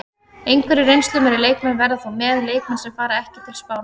Einhverjir reynslumeiri leikmenn verða þó með, leikmenn sem fara ekki til Spánar.